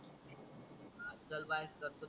आज काल बायाच करतात